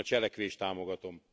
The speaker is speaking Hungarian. Én a cselekvést támogatom.